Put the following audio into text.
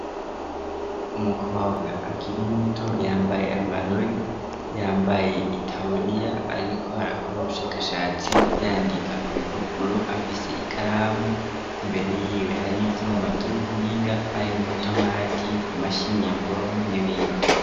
Umukobwa akiri muto yambaye amarori yambaye ariko arakora ubushakashatsi yandika kubipapuro afise ikaramu, imbere yiwe hari ivyuma vyubuhinga harimwo urutomati, imashini nyabwonko n'ibindi.